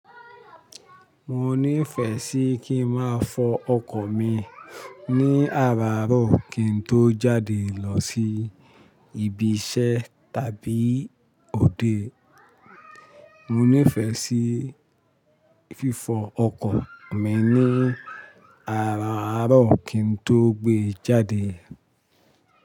Mo nífẹ sí kí n máa fọ ọkọ̀ mi ní àràárọ̀ kí n tó jáde lọ sí ibi iṣẹ́ tàbí òde. Mo nífẹ sí fífọ ọkọ̀ mi ní àaràárọ̀ kí n tó gbé jáde.